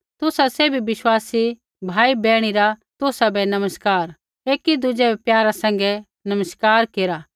तुसा सैभी विश्वासी भाई बैहणी रा तुसाबै नमस्कार एकी दुज़ै बै प्यारा सैंघै नमस्कार केरा